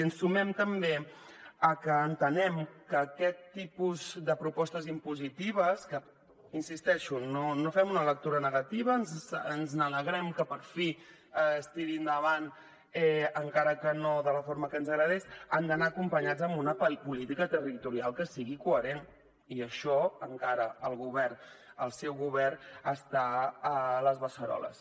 i ens sumem també a que entenem que aquest tipus de propostes impositives que hi insisteixo no en fem una lectura negativa ens n’alegrem que per fi es tirin endavant encara que no de la forma que ens agradaria han d’anar acompanyades d’una política territorial que sigui coherent i d’això encara el govern el seu govern n’està a les beceroles